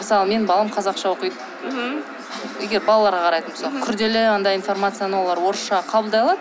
мысалы менің балам қазақша оқиды мхм егер балаларға қарайтын болсақ күрделі андай информацияны олар орысша қабылдай алады